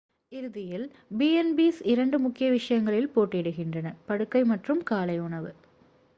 இறுதியில் b&bs இரண்டு முக்கிய விஷயங்களில் போட்டியிடுகின்றன படுக்கை மற்றும் காலை உணவு